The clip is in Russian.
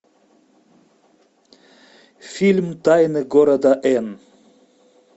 фильм тайны города эн